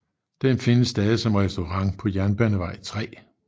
Den findes stadig som restaurant på Jernbanevej 3